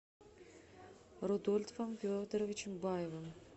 рудольфом федоровичем баевым